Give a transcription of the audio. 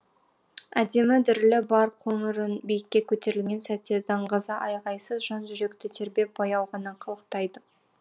әдемі дірілі бар қоңыр үн биікке көтерілген сәтте даңғаза айғайсыз жан жүректі тербеп баяу ғана қалықтайды